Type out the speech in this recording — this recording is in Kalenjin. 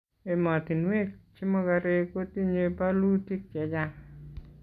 emotinwek che mokorek kotinyei bolutik chechang